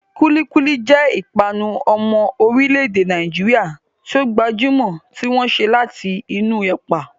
Kulikuli jẹ́ ìpanu ọmọ orílẹ̀-èdè Nàìjíríà tí ó gbajúmọ̀ tí wọ́n ṣe láti inú ilẹ̀.